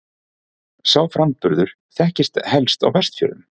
Sá framburður þekktist helst á Vestfjörðum.